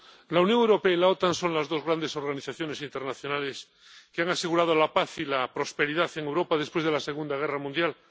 Señora presidenta, la Unión Europea y la OTAN son las dos grandes organizaciones internacionales que han asegurado la paz y la prosperidad en Europa después de la Segunda Guerra Mundial.